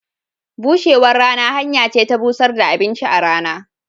Bushewan rana hanya ce ta bushar da abinci a rana.